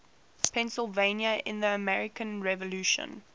pennsylvania in the american revolution